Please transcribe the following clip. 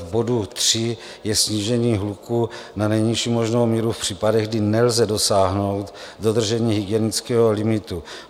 V bodu 3 je snížení hluku na nejnižší možnou míru v případech, kdy nelze dosáhnout dodržení hygienického limitu.